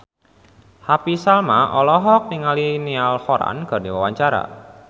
Happy Salma olohok ningali Niall Horran keur diwawancara